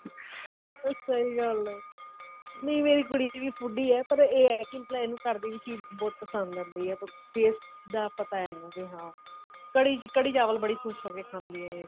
ਅਹ ਸਹੀ ਗੱਲ ਹੈ ਨਹੀਂ ਮੇਰੀ ਕੁੜੀ ਵੀ foodie ਹੈ ਪਰ ਇਹ ਹੈ ਕਿ ਪਹਿਲਾਂ ਇਹਨੂੰ ਘਰ ਦੀ ਚੀਜ ਬਹੁਤ ਪਸੰਦ ਆਉਂਦੀ ਹੈ taste ਦਾ ਪਤਾ ਇਹਨੂੰ ਵੀ ਹਾਂ ਕੜੀ ਕੜੀ ਚਾਵਲ ਬਹੁਤ ਖ਼ੁਸ਼ ਹੋ ਕੇ ਖਾਂਦੀ ਹੈ ਇਹ